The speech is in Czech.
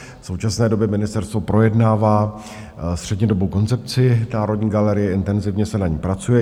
V současné době ministerstvo projednává střednědobou koncepci Národní galerie, intenzivně se na ní pracuje.